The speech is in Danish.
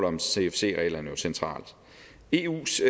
om cfc reglerne centralt eus